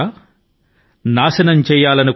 కంకడ్ పత్థర్ కీ హస్తీ క్యా బాధా బన్ కర్ ఆయేఁ